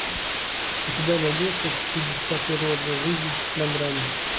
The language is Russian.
у тебя найдется чудеса природы жизнь на грани